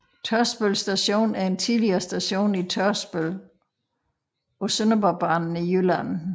Tørsbøl Station er en tidligere station i Tørsbøl på Sønderborgbanen i Jylland